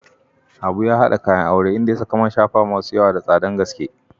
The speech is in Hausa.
Habu ya hada kayan aure, inda ya saka man shafawa masu yawa da tsadar gaske.